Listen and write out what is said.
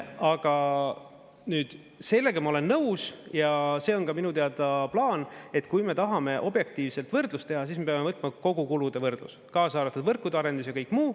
Aga nüüd sellega ma olen nõus ja see on ka minu teada plaan, et kui me tahame objektiivset võrdlust teha, siis me peame võtma kogukulude võrdluse, kaasa arvatud võrkude arendus ja kõik muu.